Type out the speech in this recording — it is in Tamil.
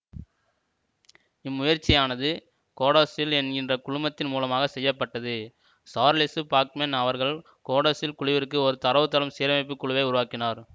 இம்முயற்சியானது கோடாசில் என்கிற குழுமத்தின் மூலமாக செய்ய பட்டது சார்லெசு பாக்மென் அவர்கள் கோடாசில் குழுவிற்குள் ஒரு தரவுத்தளம் சீரமைப்புக் குழுவை உருவாக்கினார்